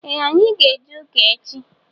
Ee anyị ga- eje ụka echi